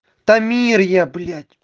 тамир я блять